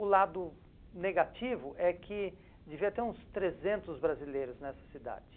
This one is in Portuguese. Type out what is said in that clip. O lado negativo é que devia ter uns trezentos brasileiros nessa cidade.